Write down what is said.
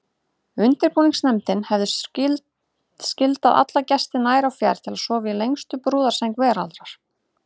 Undirbúningsnefndin hefði skyldað alla gesti nær og fjær til að sofa í lengstu brúðarsæng veraldar.